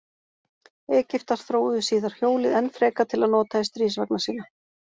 Egyptar þróuðu síðar hjólið enn frekar til að nota í stríðsvagna sína.